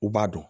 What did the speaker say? U b'a dɔn